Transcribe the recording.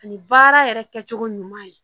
Ani baara yɛrɛ kɛcogo ɲuman ye